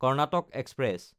Karnataka express